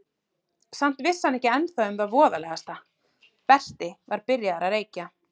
Samt vissi hann ekki ennþá um það voðalegasta: Berti var byrjaður að reykja.